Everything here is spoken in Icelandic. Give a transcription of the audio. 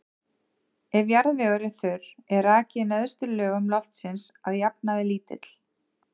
Ef jarðvegur er þurr er raki í neðstu lögum loftsins að jafnaði lítill.